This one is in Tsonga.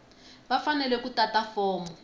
va fanele ku tata fomo